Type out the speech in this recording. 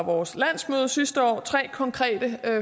vores landsmøde sidste år tre konkrete